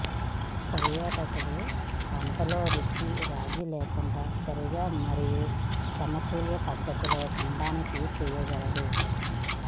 పర్యాటకులు వంటలలో రుచి రాజీ లేకుండా సరిగా మరియు సమతుల్య పద్ధతిలో తినడానికి చేయగలరు